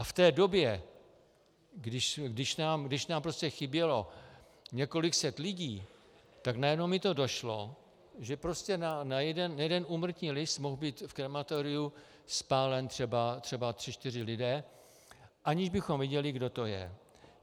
A v té době, když nám prostě chybělo několik set lidí, tak najednou mi to došlo, že prostě na jeden úmrtní list mohli být v krematoriu spáleni třeba tři čtyři lidé, aniž bychom věděli, kdo to je.